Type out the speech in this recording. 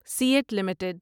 CEAT limited